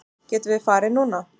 Getum við farið núna?